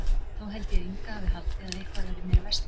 Þá held ég að Inga hafi haldið að eitthvað væri mér að versna.